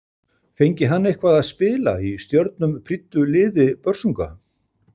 Fengi hann eitthvað að spila í stjörnum prýddu liði Börsunga?